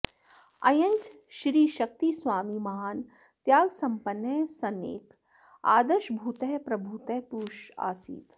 अयञ्च श्रीशक्तिस्वामी महान् त्यागसम्पन्नः सन्नेक आदर्शभूतः प्रभूतः पुरुष आसीत्